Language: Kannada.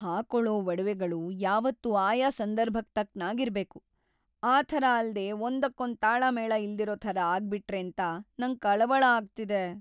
ಹಾಕೊಳೋ ಒಡವೆಗಳು ಯಾವತ್ತೂ ಆಯಾ ಸಂದರ್ಭಕ್ ತಕ್ಕನಾಗ್ ಇರ್ಬೇಕು. ಆ ಥರ ಅಲ್ದೇ ಒಂದಕ್ಕೊಂದ್‌ ತಾಳಮೇಳ ಇಲ್ದಿರೋ ಥರ ಆಗ್ಬಿಟ್ರೇಂತ ನಂಗ್‌ ಕಳವಳ ಆಗ್ತಿದೆ.